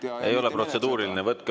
See ei ole protseduuriline.